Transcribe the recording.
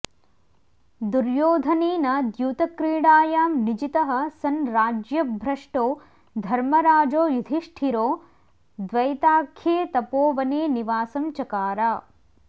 दुर्योधनेन द्यूतक्रीडायां निजितः सन् राज्यभ्रष्टो धर्मराजो युधिष्ठिरो द्वैताख्ये तपोवने निवासं चकार